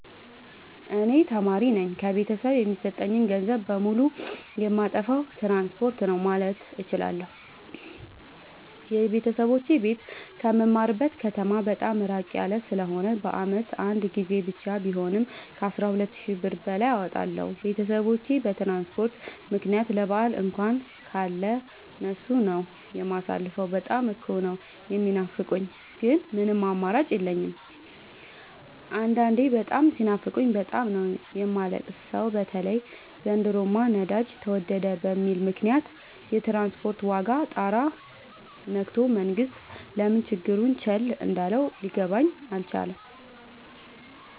እኔ ተማሪነኝ ከቤተሰብ የሚሰጠኝን ገንዘብ በሙሉ ጨየማጠፋው ትራንስፖርት ነው። ማለት እችላለሁ። የቤተሰቦቼ ቤት ከምማርበት ከተማ በጣም እራቅ ያለ ስለሆነ በአመት አንድ ጊዜ ብቻ ቢሆንም ከአስራ ሁለት ሺ ብር በላይ አወጣለሁ። ቤተሰቦቼን በትራንስፖርት ምክንያት ለበአል እንኳን ካለ እነሱ ነው። የማሳልፈው በጣም እኮ ነው። የሚናፍቁኝ ግን ምንም አማራጭ የለኝም አንዳንዴ በጣም ሲናፍቁኝ በጣም ነው የማለቅ ሰው በተለይ ዘንድሮማ ነዳጅ ተወደደ በሚል ምክንያት የትራንስፖርት ዋጋ ጣራ የክቶል መንግስት ለምን ችግሩን ቸል እንዳለው ሊገባኝ አልቻለም።